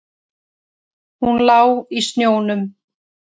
Hún lá í snjónum.